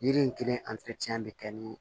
Yiri in kelen bɛ kɛ ni